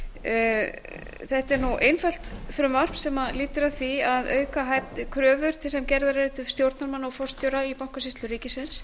mósesdóttir þetta er einfalt frumvarp sem lýtur að því að auka kröfur þær sem gerðar eru til stjórnarmanna og forstjóra í bankasýslu ríkisins